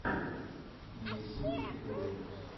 на ютюбе приколы